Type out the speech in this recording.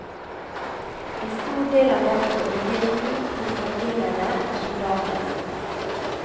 En stor del av dette ble delt ut til høvdingene og soldatene.